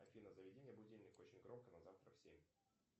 афина заведи мне будильник очень громко на завтра в семь